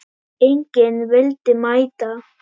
Enginn vildi mæta.